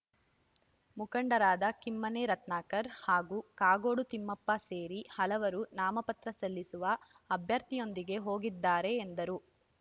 ಮುಖಂಡರಾದ ಕಿಮ್ಮನೆ ರತ್ನಾಕರ್‌ ಹಾಗೂ ಕಾಗೋಡು ತಿಮ್ಮಪ್ಪ ಸೇರಿ ಹಲವರು ನಾಮಪತ್ರ ಸಲ್ಲಿಸುವ ಅಭ್ಯರ್ಥಿಯೊಂದಿಗೆ ಹೋಗಿದ್ದಾರೆ ಎಂದರು